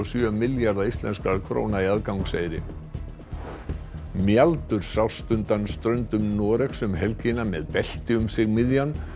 sjö milljarða íslenskra króna í aðgangseyri sást undan ströndum Noregs um helgina með belti um sig miðjan